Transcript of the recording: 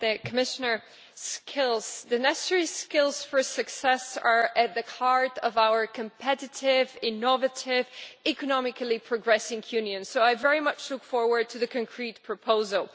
Mr President, skills, the necessary skills for success are at the heart of our competitive, innovative, economically progressing Union, so I very much look forward to the concrete proposal.